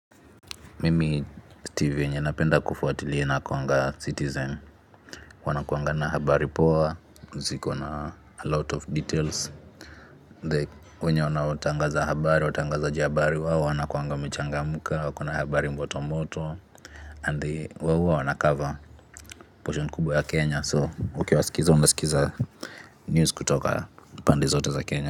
Mimi si tv yenye napenda kufuatilia inakuanga citizen wanakuangana habari poa ziko na a lot of details the wenye wanatangaza habari, watangazaji habari, wawo wanakuanga wamechangamka, wakona habari moto moto and the wawo huwa wanacover portion kubwa ya kenya so ukiwasikiza unasikiza news kutoka pande zote za kenya.